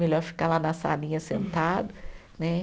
Melhor ficar lá na salinha sentado, né?